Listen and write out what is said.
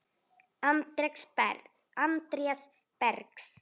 Andrés Bergs.